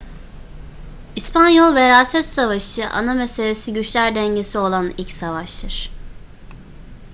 i̇spanyol veraset savaşı ana meselesi güçler dengesi olan ilk savaştır